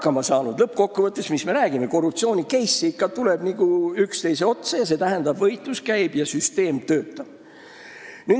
Mis me räägime – lõppkokkuvõttes tuleb ju korruptsiooni-case'e üksteise otsa, st võitlus käib ja süsteem töötab.